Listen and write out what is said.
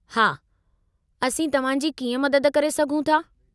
हा, असीं तव्हां जी कीअं मदद करे सघूं था?